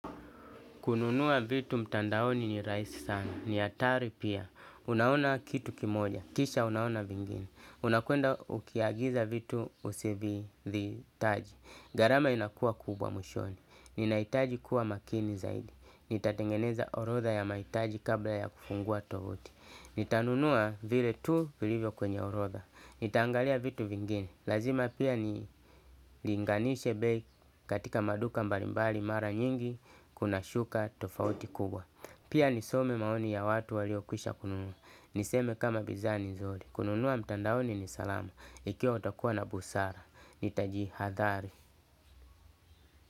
Kununua vitu mtandaoni ni raisi sana, ni atari pia. Unaona kitu kimoja, kisha unaona vingine. Unakwenda ukiagiza vitu usivi dhi taji. Garama inakua kubwa mwishoni. Ninaitaji kuwa makini zaidi. Nitatengeneza orotha ya maitaji kabla ya kufungua tovuti. Nitanunua vile tu vile vyo kwenye orotha. Nitaangalia vitu vingine. Lazima pia ni linganishe bei katika maduka mbalimbali mara nyingi. Kuna shuka tofauti kubwa. Pia nisome maoni ya watu walio kwisha kununua. Niseme kama bizaa ni nzuri. Kununua mtandaoni ni salama. Ikiwa utakuwa na busara Nitaji hadhari.